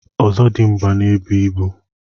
Ọzọdịmgba n'ebu ibu.